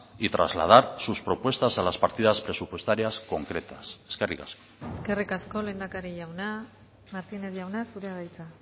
y trasladar sus propuestas a las partidas presupuestarias concretas eskerrik asko eskerrik asko lehendakari jauna martínez jauna zurea da hitza